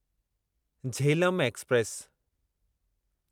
Jhelum express